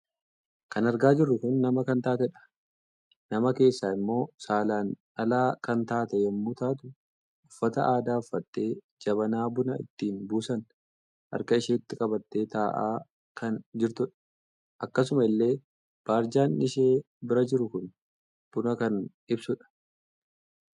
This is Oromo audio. Kan argaa jirru kun nama kan taatedha. Nama keessaa immoo saalaan dhalaa kan taate yemmuu taatu uffata aadaa uffattee jabanaa buna ittin buusan harka isheetti qabatee taa'aa kan jirtudha. Akkasuma illee baarjaan ishee bira jiru kun buna kan ibsudha